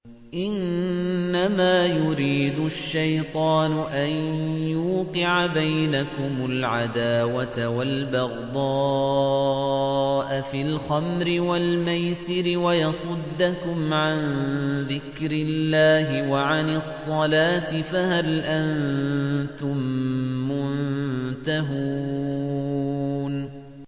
إِنَّمَا يُرِيدُ الشَّيْطَانُ أَن يُوقِعَ بَيْنَكُمُ الْعَدَاوَةَ وَالْبَغْضَاءَ فِي الْخَمْرِ وَالْمَيْسِرِ وَيَصُدَّكُمْ عَن ذِكْرِ اللَّهِ وَعَنِ الصَّلَاةِ ۖ فَهَلْ أَنتُم مُّنتَهُونَ